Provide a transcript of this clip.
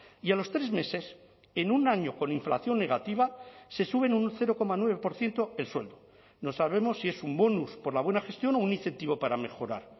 y a los tres meses en un año con inflación negativa se suben un cero coma nueve por ciento el sueldo no sabemos si es un bonus por la buena gestión o un incentivo para mejorar